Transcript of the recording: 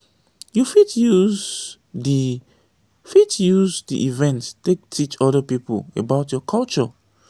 you fit use di fit use di event take teach oda pipo about your culture